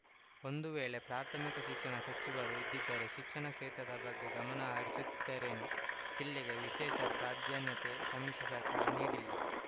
ಒಂದು ವೇಳೆ ಪ್ರಾಥಮಿಕ ಶಿಕ್ಷಣ ಸಚಿವರು ಇದ್ದಿದ್ದರೆ ಶಿಕ್ಷಣ ಕ್ಷೇತ್ರದ ಬಗ್ಗೆ ಗಮನ ಹರಿಸುತ್ತಿದ್ದರೇನೋ ಜಿಲ್ಲೆಗೆ ವಿಶೇಷ ಪ್ರಾಧಾನ್ಯತೆ ಸಮ್ಮಿಶ್ರ ಸರ್ಕಾರ ನೀಡಿಲ್ಲ